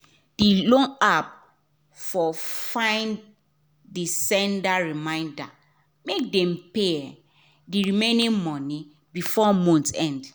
d loan app for fine de send reminder make dem pay um the remaining money before month end